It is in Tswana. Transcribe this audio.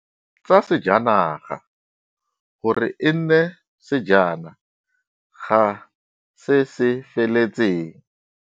Tsa sejanaga gore e nne sejana ga se se feletseng.